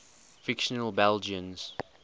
fictional belgians